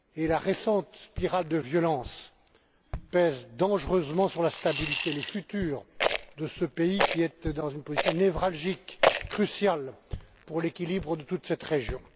La récente spirale de violence pèse dangereusement sur la stabilité et l'avenir de ce pays qui est dans une position névralgique et cruciale pour l'équilibre de toute cette région.